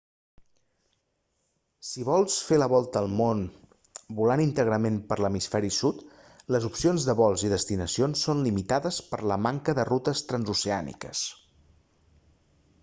si vols fer la volta al món volant íntegrament per l'hemisferi sud les opcions de vols i destinacions són limitades per la manca de rutes transoceàniques